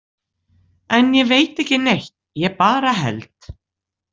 En ég veit ekki neitt, ég bara held.